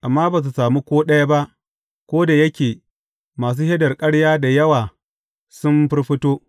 Amma ba su sami ko ɗaya ba, ko da yake masu shaidar ƙarya da yawa sun firfito.